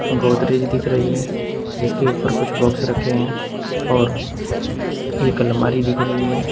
गोदरेज दिख रही है जिसके ऊपर कुछ बॉक्स रखे हैं और एक अलमारी दिख रही है।